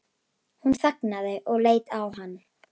Hún þagnaði og leit á hann.